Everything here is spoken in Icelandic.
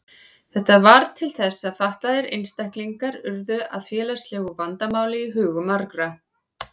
Þetta varð til þess að fatlaðir einstaklingar urðu að félagslegu vandamáli í hugum margra.